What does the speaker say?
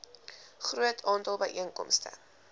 groot aantal byeenkomste